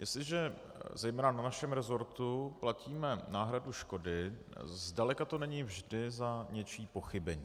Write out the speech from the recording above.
Jestliže zejména na našem resortu platíme náhradu škody, zdaleka to není vždy za něčí pochybení.